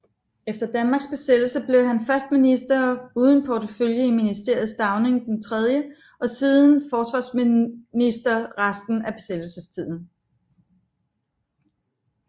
Efter Danmarks besættelse blev han først minister uden portefølje i Ministeriet Stauning III og siden forsvarsminister resten af besættelsestiden